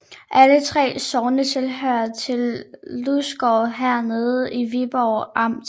Alle 3 sogne hørte til Lysgård Herred i Viborg Amt